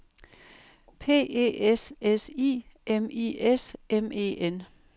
P E S S I M I S M E N